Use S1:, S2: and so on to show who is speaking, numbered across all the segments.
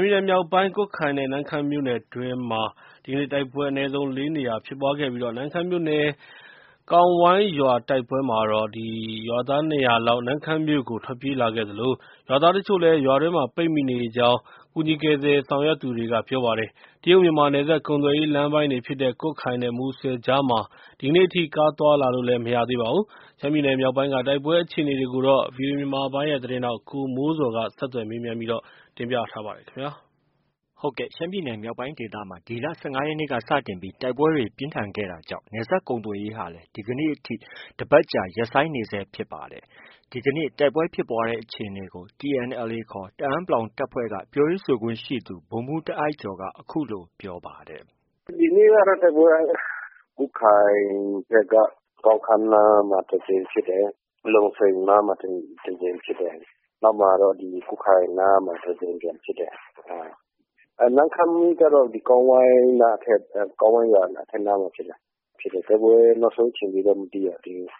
S1: မ်းပြည်နယ်မြောက်ပိုင်းကွတ်ခိုင်နဲ့ နမ့်ခမ်းမြို့နယ်အတွင်းမှာဒီကနေ့ တိုက်ပွဲအနည်းဆုံး ၄နေရာဖြစ်ပွားခဲ့ နမ့်ခမ်းမြို့နယ် ကောင်းဝိုင်းရွာတိုက်ပွဲမှာတော့ ရွာသား ၂၀၀လောက် နမ့်ခမ်းမြို့ကို ထွက်ပြေးလာခဲ့သလို ရွာသားအချို့လည်း ရွာအတွင်းမှာ ပိတ်မိနေကြောင်း ကူညီကယ်ဆယ်ရေးဆောင်ရွက်နေသူက ပြောပါတယ်။ တရုတ်မြန်မာနယ်စပ်ကုန်သွယ်ရေးလမ်းပိုင်းဖြစ်တဲ့ ကွတ်ခိုင်နဲ့ မူဆယ်အကြားမှာ ဒီကနေ့ အထိ ကားသွားလာလို့ မရသေးပါဘူး။ ရှမ်းပြည်နယ်မြောက်ပိုင်းက တိုက်ပွဲအခြေအနေတွေကိုဗွီအိုအေမြန်မာပိုင်းရဲ့ သတင်းထောက် ကိုမိုးဇော်ကဆက်သွယ်မေးမြန်းပြီး အခုလိုတင်ပြထားပါတယ်။ ရှမ်းပြည်နယ်မြောက်ပိုင်းဒေသမှာ ဒီလ ၁၅ရက်နေ့ကစတင်ပြီး တိုက်ပွဲတွေ ပြင်းထန် ခဲ့တာကြောင့်နယ်စပ်ကုန်သွယ်ရေးဟာလည်း ဒီကနေ့ အထိ တစ်ပတ်ကြာ ရပ်ဆိုင်းနေဆဲဖြစ်ပါတယ်။ ဒီကနေ့ တိုက်ပွဲဖြစ်ပွားတဲ့အခြေအနေကို TNLA ခေါ် တအန်း တပ်ဖွဲ့က ပြောရေးဆိုခွင့်ရှိသူ ဗိုလ်မှူးတာအိုက်ကျော်က
S2: အခုလို ပြောပါတယ်
S3: ။ “ ဒီနေ့ကတော့ တိုက်ပွဲက
S2: ဒီကွတ်ခိုင်ဘက်က ကောင်းခါးနားမှာ တစ်ကြိမ်ဖြစ်တယ်။ လုံစိန်နားမှာ တစ်ကြိမ်ဖြစ်တယ်။ နောက်တစ်ခါကတော့ ကွတ်ခိုင်နားမှာ တစ်ကြိမ်ပြန်ဖြစ်တယ်။ နမ့်ခမ်းကျတော့ ကောင်းဝိုင်း၊ ကောင်းဝိုင်းရွာအထက်နားမှာဖြစ်တယ်။ တိုက်ပွဲနောက်ဆုံးအခြေအနေကိုတော့ မသိရသေးဘူး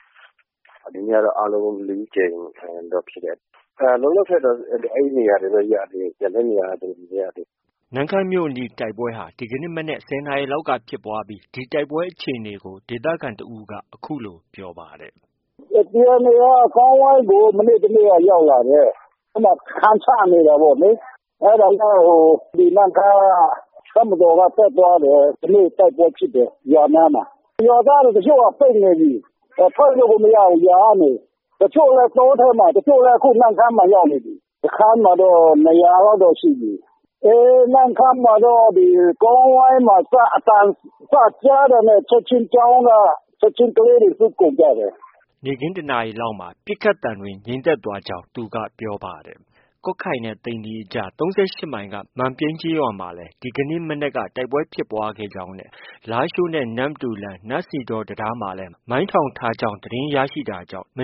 S2: ။ ဒီနေ့ကတော့ တိုက်ပွဲအနည်းဆုံး ၄ကြိမ်တော့ ဖြစ်တယ်။ လောလောဆည်တော့ အဲဒီနေရာတွေပဲ ရသေးတယ်။ ကျန်တဲ့နေရာတွေတော့ မသိရသေးဘူး။
S1: ” နမ့်ခမ်းမြို့အနီးတိုက်ပွဲဟာ ဒီကနေ့ မနက် ၁၀နာရီလောက်က ဖြစ်ပွားပြီး ဒီတိုက်ပွဲအခြေအနေကို ဒေသခံတစ်ဦးက အခုလို ပြောပါတယ်
S3: ။ “ TNLA က ကောင်းဝိုင်းကို မနေ့ တစ်နေ့က ရောက်လာတယ်။ အဲဒီမှာ စခန်းချနေတယ်ပေါ့လေ။ အဲဒါနဲ့ ဒီနမ့်ခမ်းက တပ်မတော်က တက်သွားတယ်။ ဒီနေ့ တိုက်ပွဲဖြစ်တယ်။ ရွာနားမှာ။ ရွာသားတွေ တချို့က ပိတ်နေပြီ ထွက်လို့ကို မရဘူး ရွာထဲမှာ။ တချို့လည်း တောထဲမှာ၊ တချို့လည်း နမ့်ခမ်းကို ရောက်နေပြီ။ စခန်းမှာတော့ ၂၀၀လောက်တော့ ရှိပြီ။ နမ့်ခမ်းမှာတော့ ကောင်းဝိုင်းမှာ စပြီး အသံကြားတာနဲ့ ကျောင်းက ချက်ချင်း ကလေးတွေ လွှတ်ကုန်ကြတယ်။
S1: ” နေ့ခင်း ၁နာရီလောက်မှာ ပစ်ခတ်သံတွေငြိမ်သက်သွားကြောင်း ပြောပါတယ်။ ကွတ်ခိုင်နဲ့ သိန္နီအကြား ၃၈မိုင်က မန်ပြိန်းရွာအနီးမှာ ဒီနေ့ မနက် တိုက်ပွဲဖြစ်ပွားကြောင်း နဲ့ လားရှိုးနဲ့ နမ္မတူလမ်း နန့်စီဒေါ တံတားမှာလည်း မိုင်းထောင်ထားတာ သတင်းရလို့ ဒီက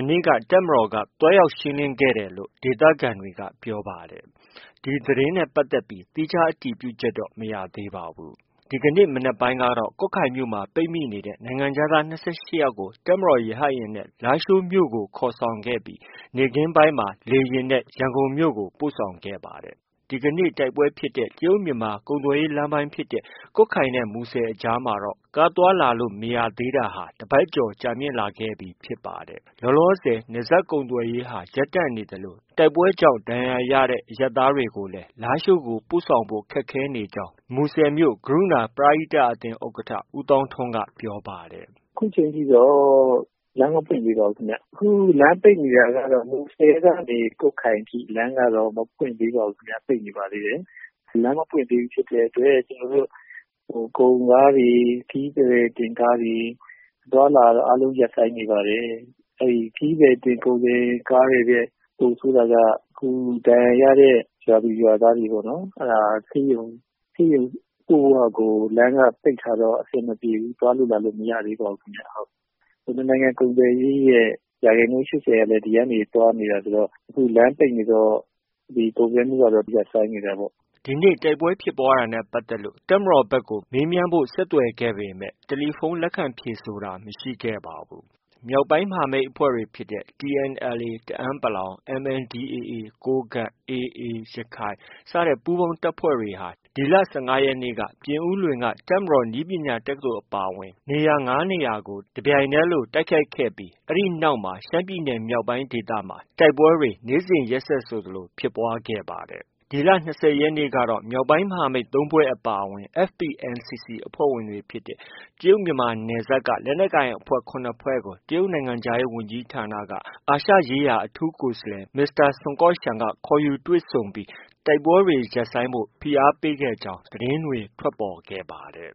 S1: နေ့ တပ်မတော်က သွားရောက် ရှင်းလင်းခဲ့တယ်လို့ ဒေသခံတွေက ပြောပါတယ်။ ဒီသတင်းနဲ့ပတ်သက်ပြီး သီးခြားအတည်ပြုချက်တော့ မရသေးပါဘူး။ ဒီကနေ့ မနက်ပိုင်းကတော့ ကွတ်ခိုင်မြို့မှာ ပိတ်မိနေတဲ့ နိုင်ငံခြားသား၂၈ကို တပ်မတော်ရဟတ်ယာဉ်နဲ့ လားရှိုးမြို့ကို ခေါ်ဆောင်ပြီး နေ့ခင်းပိုင်းမှာ ရန်ကုန်ကို ပို့ဆောင်ခဲ့ပါတယ်။ ဒီနေ့ တိုက်ပွဲဖြစ်တဲ့ တရုတ်-မြန်မာ ကုန်သွယ်ရေးလမ်းပိုင်းဖြစ်တဲ့ ကွတ်ခိုင်နဲ့မူဆယ်အကြားမှာတော့ ကားသွားလာလို့ မရသေးတာဟာ တစ်ပတ်လောက်ကြာမြင့်လာခဲ့ပြီဖြစ်ပါတယ်။ လောလောဆည် နယ်စပ်ကုန်သွယ်ရေးဟာ ရပ်တန့်နေသလို တိုက်ပွဲကြောင့် ဒဏ်ရာရတဲ့ အရပ်သားတွေကိုလည်း လားရှိုးဖက်ကို ပို့ဆောင်ဖို့ ခက်ခဲနေကြောင်း မူဆယ်မြို့ ကရုဏာ ပရဟိတအသင်း ဥက္ကဌ ဦးသောင်းထွန်းက ပြောပါတယ်။
S2: “ ခုချိန်ထိတော့ လမ်းမပွင့်သေးပါဘူးခင်ဗျ။ ခု လမ်းပိတ်နေတာကတော့ မူဆယ်ကနေ ကွတ်ခိုင်အထိ လမ်းကတော့ မပွင့်သေးပါဘူးခင်ဗျ။ ပိတ်နေပါသေးတယ်။ လမ်းမပွင့်သေးဘူးဖြစ်တဲ့အတွက် ကျနော်တို့ ကုန်ကားတွေ၊ ခရီးသည်တင်ကားတွေ အသွားအလာကတော့ အားလုံး ရပ်ဆိုင်းနေပါတယ်။ အဲဒီ ခရီးသည်တင် ကုန်တင်ကားတွေထက် ပိုဆိုးတာက အခု ဒဏ်ရာရတဲ့ ရွာသူ၊ရွာသားတွေပေါ့နော် အဲဒါ ဆေးရုံ ပို့ဖို့ဟာကို လမ်းက ပိတ်ထားတော့ အဆင်မပြေဘူး။ သွားလို့ လာလို့ မရသေးပါဘူးခင်ဗျ။ နှစ်နိုင်ငံ ကုန်သွယ်ရေးရဲ့ ရာခိုင်နှုန်း ၈၀ကလည်း ဒီကနေ သွားနေတာဆိုတော့ အခုလမ်းပိတ်နေတော့ ကုန်သွယ်မှုကတော့ ရပ်ဆိုင်းနေတာပေါ့။” ဒီန
S1: ေ့ တိုက်ပွဲဖြစ်ပွားတာနဲ့ပတ်သက်လို့ တပ်မတော်ဘက်ကို ဆက်သွယ်ခဲ့ပေမဲ့ ဖုန်းလက်ခံ ဖြေဆိုတာ မရှိခဲ့ပါဘူး။ မြောက်ပိုင်းမဟာမိတ်အဖွဲ့တွေဖြစ်တဲ့ TNLA တအန်း ၊ MNDAA ကိုးကန့်၊ AA ရခိုင် ပူးပေါင်းတပ်ဖွဲ့တွေဟာ ဒီလ ၁၅ရက်နေ့က ပြင်ဦးလွင်က တပ်မတော်နည်းပညာတက္ကသိုလ်အပါအဝင် နေရာ ၅နေရာလောက်ကို တပြိုင်တည်းလိုတိုက်ခိုက်ခဲ့ ပြီး အဲဒီနောက်ပိုင်းမှာ ရှမ်းပြည်နယ်မြောက်ပိုင်းဒေသမှာ တိုက်ပွဲတွေ နေ့စဉ်ရက်ဆက်ဆိုသလို ဖြစ်ပွားခဲ့ပါတယ်။ ဒီလ ၂၀ရက်နေ့ကတော့ မြောက်ပိုင်းမဟာမိတ် ၃ဖွဲ့အပါအဝင် FPNCC အဖွ့ဲဝင်တွေဖြစ်တဲ့ တရုတ်မြန်မာနယ်စပ်က လက်နက်ကိုင်အဖွဲ့ ၇ဖွဲ့ကို တရုတ်နိုင်ငံခြားရေးဝန်ကြီးဌာနက အာရှရေးရာအထူးကိုယ်စားလှယ် မစ္စတာဆွန်ကော့ရှန်က ခေါ်ယူတွေ့ဆုံခဲ့ပြီး တိုက်ပွဲတွေ ရပ်ဆိုင်းဖို့ ဖိအားပေးခဲ့ကြောင်း သတင်းတွေ ထွက်ပေါ်ခဲ့ပါတယ်